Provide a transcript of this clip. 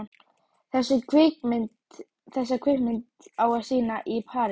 Þessa kvikmynd á að sýna í París.